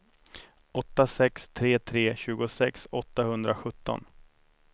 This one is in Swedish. åtta sex tre tre tjugosex åttahundrasjutton